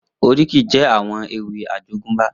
Oríkì jè áwòn éwì àjógùnbá